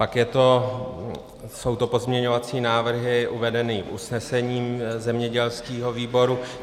Pak jsou to pozměňovací návrhy uvedené v usnesení zemědělského výboru.